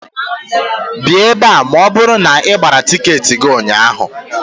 Bịạ ebe a ma ọ bụrụ na ị gbara tịketị gị ụnyạhụ